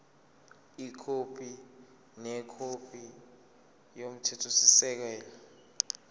ikhophi nekhophi yomthethosisekelo